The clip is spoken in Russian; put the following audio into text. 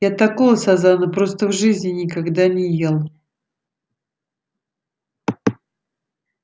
я такого сазана просто в жизни никогда не ел